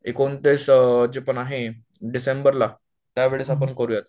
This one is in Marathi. एकोणतीस ची पण आहे डिसेंबरला त्या वेळेस करूयात